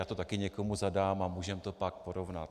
Já to také někomu zadám a můžeme to pak porovnat.